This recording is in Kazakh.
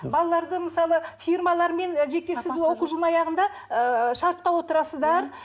балаларды мысалы фирмалармен і жеке сіз оқу жылының аяғында ыыы шартқа отырасыздар